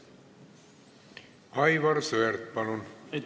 Aivar Sõerd, palun!